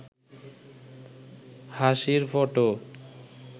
হাসির ফটো